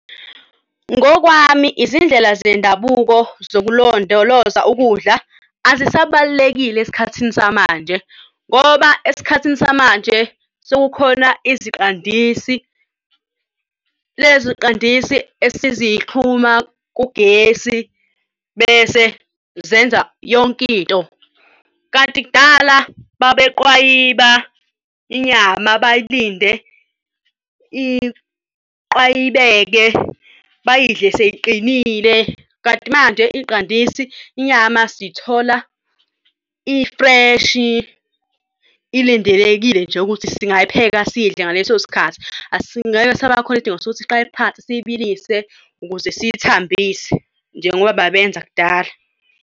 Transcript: Ngokwami, izindlela zendabuko zokulondoloza ukudla azisa balulekile esikhathini samanje ngoba esikhathini samanje sekukhona iziqandisi lezo qandisi esizixhuma kugesi bese zenza yonkinto. Kanti kudala babeqwayiba inyama, bayilinde iqwayibeke bayidle sey'qinile. Kanti manje iy'qandisi inyama siy'thola i-fresh ilindelekile nje ukuthi singayipheka siyidle ngaleso sikhathi. Ngeke sisaba khona isidingo sokuthi siqale phansi siyibilise ukuze siyithambise njengoba babenza kudala.